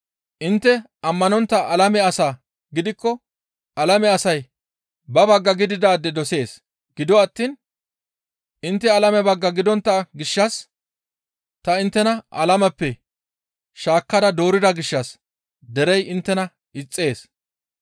Intte ammanontta alame asaa gidikko alame asay ba bagga gididaade dosees. Gido attiin intte alame bagga gidontta gishshas ta inttena alameppe shaakkada doorida gishshas derey inttena ixxees.